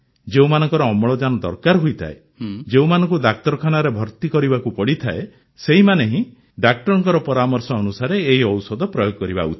ଯେଉଁମାନଙ୍କର ଅମ୍ଳଜାନ ଦରକାର ହୋଇଥାଏ ଯେଉଁମାନଙ୍କୁ ଡାକ୍ତରଖାନାରେ ଭର୍ତି ହେବାକୁ ପଡ଼ିଥାଏ ସେହିମାନେ ହିଁ ଡାକ୍ତରଙ୍କ ପରାମର୍ଶ ଅନୁସାରେ ଏହି ଔଷଧ ପ୍ରୟୋଗ କରିବା ଉଚିତ